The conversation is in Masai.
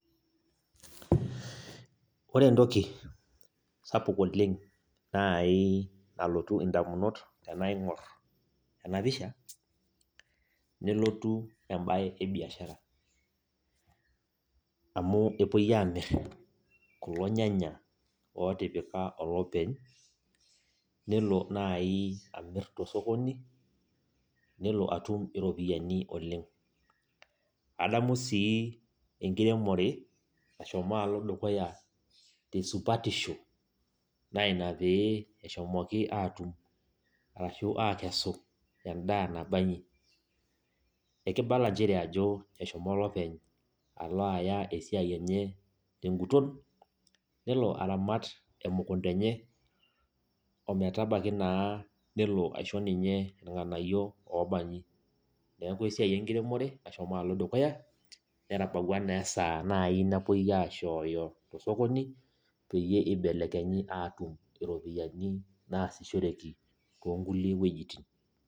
Ore entoki sapuk oleng nai nalotu indamunot tenaing'or enapisha, nelotu ebae ebiashara. Amu epoi amir kulo nyanya otipika olopeny, nelo nai amir tosokoni, nelo atum iropiyiani oleng. Adamu sii enkiremore nashomo alo dukuya tesupatisho, na ina pee eshomoki atum arashu akesu endaa nabanyi. Ekibala njere ajo eshomo olopeny ala aya esiai enye teguton, nelo aramat emukunda enye, ometabaki naa nelo aisho ninye irng'anayio obanyi. Neeku esiai enkiremore nashomo alo dukuya, netabawua nesaa nai napoi aishooyo tosokoni, peyie ibelekenyi atum iropiyiani naasishoreki tonkulie wuejiting.